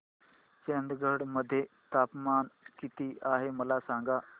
चंदगड मध्ये तापमान किती आहे मला सांगा